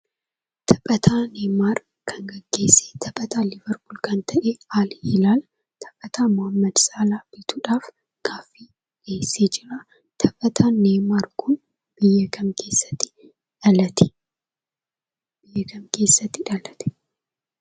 Taphataa Neeymaar kan gaggeesse; taphataa Liiverpuul kan ta'e, AlHilaal taphataa Mohaammad Saalah bituudhaaf gaaffii dhiyeessee jira. Taphataan Neeymaar kun biyya kam keessatti dhalate?